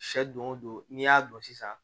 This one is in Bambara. Sɛ don o don n'i y'a don sisan